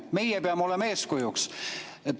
Meie peame olema eeskujuks.